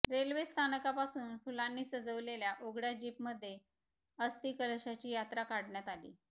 railway स्थानकापासून फुलांनी सजविलेल्या उघड्या जीपमध्ये अस्थीकलशाची यात्रा काढण्यात आली